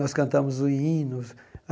Nós cantamos o hino.